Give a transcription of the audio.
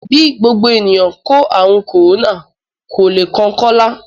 Bí gbogbo ènìyàn kó ààrùn kòrónà, kò le kan Kọ́lá